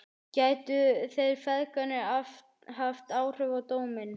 Gætu þeir feðgarnir haft áhrif á dóminn?